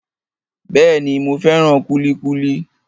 Bẹ́ẹ̀ni, mo fẹ́ràn kúlíkúlí